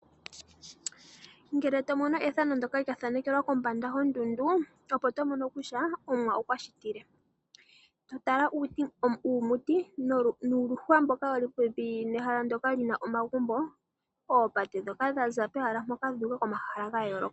Ngele to mono ethano ndyoka lya thanekelwa kombanda yondundu, opo to mono kutya Omuwa okwa shitile. To tala uumuti nuuluhwa mboka wu li popepi naa mpoka pu na omagumbo, oopate ndhoka dha za pomahala mpoka dhu uka komahala ga yooloka.